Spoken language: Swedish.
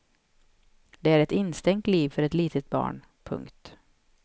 Det är ett instängt liv för ett litet barn. punkt